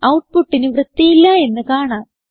ഔട്ട്പുട്ടിന് വൃത്തിയില്ല എന്ന് കാണാം